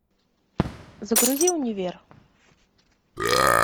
загрузи универ